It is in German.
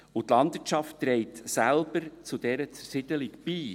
Die Landwirtschaft trägt selbst zu dieser Zersiedelung bei.